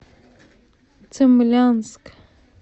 цимлянск